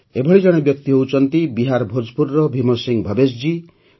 ଏଭଳି ଜଣେ ବ୍ୟକ୍ତି ହେଉଛନ୍ତି ବିହାର ଭୋଜପୁରର ଭୀମ ସିଂହ ଭବେଶ ଜୀ